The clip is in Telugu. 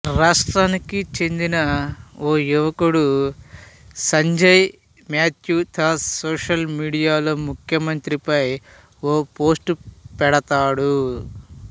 రాష్ట్రానికి చెందిన ఓ యువకుడు సంజయ్ మాథ్యూ థామస్ సోషల్ మీడియాలో ముఖ్యమంత్రి పై ఓ పోస్ట్ పెడతాడు